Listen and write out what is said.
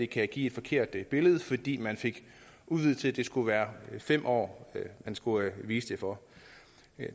kan give et forkert billede fordi man fik udvidet til at det skulle være fem år man skulle vise det for